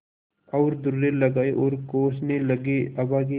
और दुर्रे लगाये और कोसने लगेअभागे